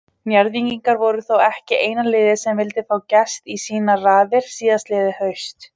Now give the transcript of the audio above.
Njarðvíkingar voru þó ekki eina liðið sem vildi fá Gest í sínar raðir síðastliðið haust.